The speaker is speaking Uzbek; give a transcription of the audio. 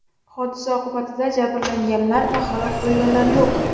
Hodisa oqibatida jabrlanganlar va halok bo‘lganlar yo‘q.